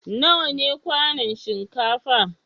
Nawa ne kwanun shinkafa?